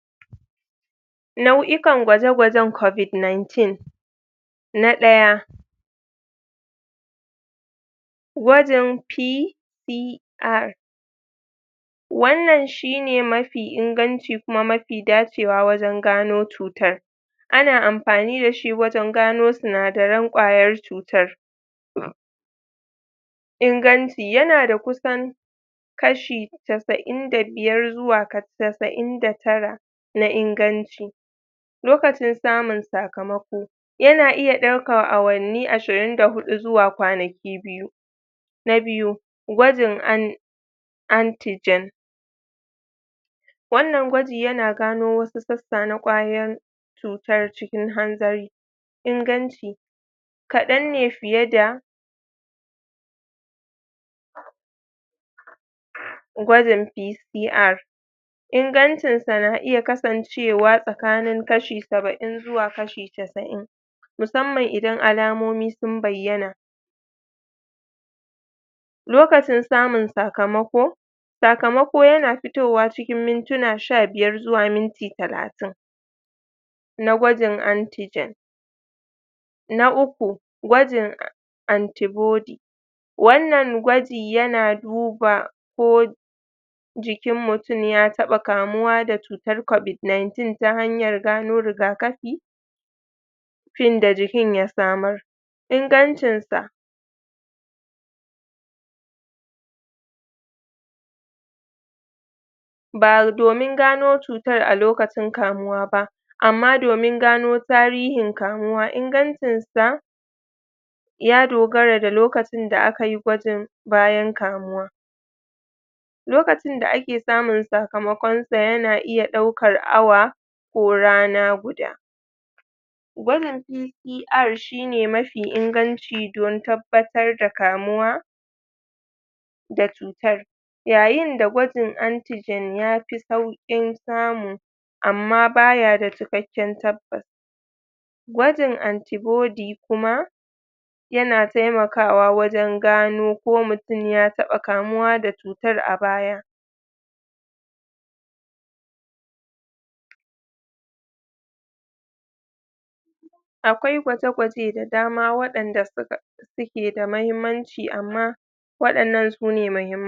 nau'ikan gwaje gwajen covid nineteen na daya gwanjin P p R wannan shine mafi inganci kuma mafi dacewa wajen gano cutar ana amfani dashi wajen gano sinadaran kwayar cutar?? inganci yana da kusan kashi chasa'in da biyar xuwa chasa'in da tara na inganci lokacin samun sakamako yana iya daukan awanni ashirin da hudu xuwa kwanaki na biyu na biyu gwajin an anti jen wannan gwaji yana gano wasu sassa na kwayan cutan cikin hanzari inganci kadan ne fiye da gwajin P PR ingancinsa na iya kasancewa cewa tsakanin kashi saba'in zuwa kashi chassa'in musamman idan alamomi sun bayyana lokacin samun sakamako sakamako yana fitowa cikin mintuna sha biyar xuwa minti talatin na gwajin antijen na uku gwajin an anti body wannan gwaji yana duba ko ko jikin mutum ya gama kamuwa da cutar covid nineteen ta hanyar gano rigakafi tun da jikin ya samar ingancinsa ba domin gano cutar a lokacin kamuwa ba amma domin gano tarihin kamuwa ingancinsa ya dogara da lokacin da akayi gwajin bayan kamuwa lokacin da ake samun sakamakonsa yana iya daukan awa ko rana guda gwajin CCR shine mafi inganci don tabbatar da kamuwa da cutar yayin da gwajin anji gen ya fi saukin samu amma baya da cikakken tabbas gwajin antibody kuma yana taimakawa wajen gano ko mutum ya taba kamuwa ko da cutar a baya akwai gwaje gwaje da dama wadanda suka suke da mahimmanci amma wadannan sune mahimmai